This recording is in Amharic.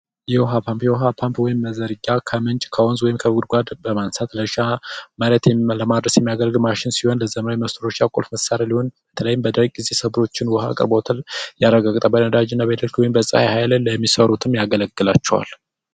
አብዮታዊ መረጃ ከምንጩ ከሆኑ ወይም ከቡድኑ ጋር በማነጻጸር ብቻ ማለትም ዓለም አቀፍ የሚያደርግ ማሽን ሲሆን ፤ በዘመኑ መጨረሻ ቁልፍ መሣሪያ ላይ መድኃኒት ሰብሎችን ውሃ አቅርቦትን ያረጋገጠ በነዳጅ ነዳጅ ወይም በፀሐይ ኃይል የሚሠሩትን ያገለግላቸዋል።